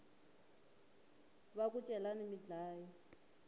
va ku celani mi dlaya